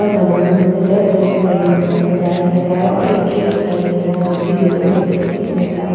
और बैलून से red colour के बैलून से सजाया गया है और एक केक दिखाई दे रहा है जोकि येलो और फिरोज़ी कलर का है।